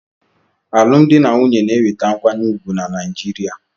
Alụmdi na nwunye na-enweta nkwanye ùgwù na Naijiria.